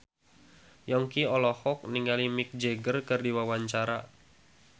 Yongki olohok ningali Mick Jagger keur diwawancara